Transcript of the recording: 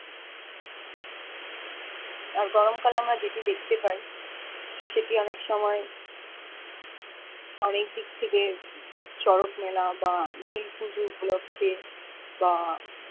আর গরম কালে আমরা যেটি দেখতে পাই সেটি অনেক সময় অনেক দিক থেকে চোরকে মেলা বা নীল পুজো উপলক্ষে বা